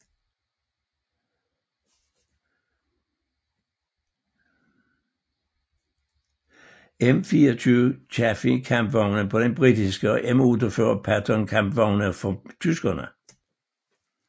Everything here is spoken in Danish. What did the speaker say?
M24 Chaffee kampvogne på den britiske og M48 Patton kampvogne for tyskerne